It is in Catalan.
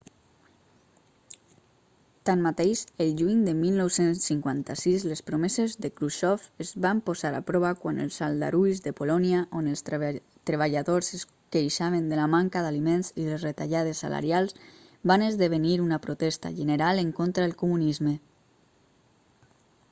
tanmateix el juny de 1956 les promeses de khrusxov es van posar a prova quan els aldarulls de polònia on els treballadors es queixaven de la manca d'aliments i les retallades salarials van esdevenir una protesta general en contra el comunisme